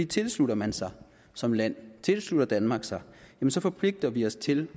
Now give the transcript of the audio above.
tilslutter man sig som land tilslutter danmark sig så forpligter vi os til